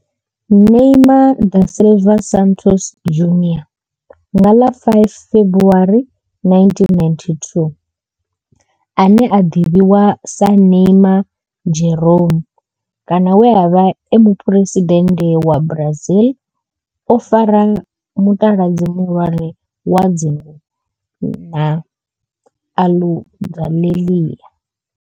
Neymar da Silva Santos Junior nga ḽa 5 February 1992, ane a ḓivhiwa sa Neymar' Jeromme kana we a vha e muphuresidennde wa Brazil o fara mutaladzi muhulwane wa dzingu na Aludalelia.